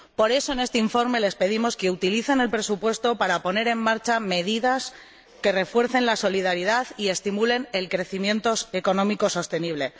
Por eso, en este informe les pedimos que utilicen el presupuesto para poner en marcha medidas que refuercen la solidaridad y estimulen el crecimiento económico sostenible.